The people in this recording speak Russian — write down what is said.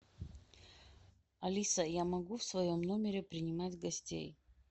алиса я могу в своем номере принимать гостей